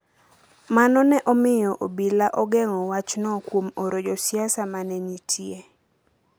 Mano ne omiyo obila ogeng’o wachno kuom oro josiasa ma ne nitie.